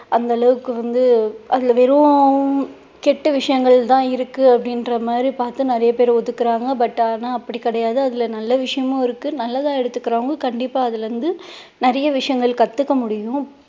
அந்த அளவுக்கு வந்து அதுல வெறும் கெட்ட விஷயங்கள் தான் இருக்கு அப்படின்ற மாதிரி பார்த்து நிறைய பேரு ஒதுக்குறாங்க but ஆனா அப்படி கிடையாது அதுல நல்ல விஷயமும் இருக்கு நல்லதா எடுத்துக்கிறவங்க கண்டிப்பா அதுல இருந்து நிறைய விஷயங்கள் கத்துக்க முடியும்